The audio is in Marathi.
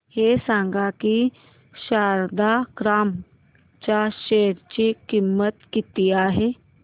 हे सांगा की शारदा क्रॉप च्या शेअर ची किंमत किती आहे